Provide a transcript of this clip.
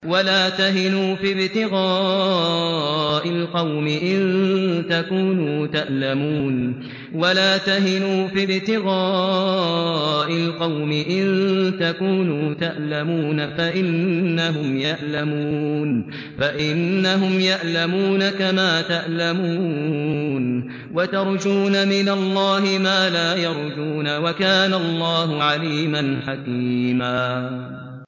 وَلَا تَهِنُوا فِي ابْتِغَاءِ الْقَوْمِ ۖ إِن تَكُونُوا تَأْلَمُونَ فَإِنَّهُمْ يَأْلَمُونَ كَمَا تَأْلَمُونَ ۖ وَتَرْجُونَ مِنَ اللَّهِ مَا لَا يَرْجُونَ ۗ وَكَانَ اللَّهُ عَلِيمًا حَكِيمًا